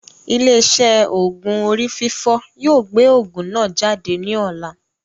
Ilé iṣé òògùn orí fífọ́ yóò gbé òògùn náà jáde ní ọ̀la